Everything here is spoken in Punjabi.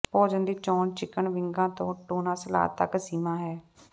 ਭੋਜਨ ਦੀ ਚੋਣ ਚਿਕਨ ਵਿੰਗਾਂ ਤੋਂ ਟੂਨਾ ਸਲਾਦ ਤੱਕ ਸੀਮਾ ਹੈ